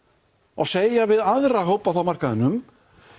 og segja við aðra hópa á markaðnum